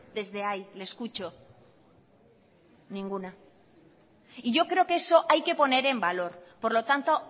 desde ahí le escucho ninguna y yo creo que eso hay que poner en valor por lo tanto